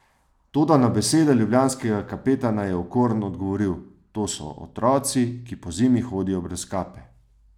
Toda na besede ljubljanskega kapetana je Okorn odgovoril: "To so otroci, ki pozimi hodijo brez kape.